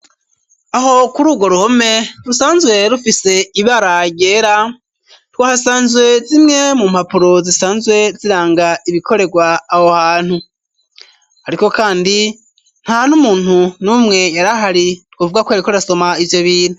Aho kuri urwo ruhome rusanzwe rufise ibara ryera, twahasanze zimwe mu mpapuro zisanzwe ziranga ibikorerwa aho hantu. Ariko kandi ntan'umuntu n'umwe yari ahari, twovuga ko yariko arasoma ivyo bintu.